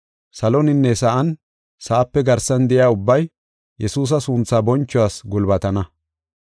Saloninne sa7an, sa7ape garsan de7iya ubbay, Yesuusa sunthaa bonchuwas gulbatana.